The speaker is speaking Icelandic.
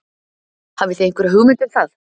Hafið þið einhverja hugmynd um það?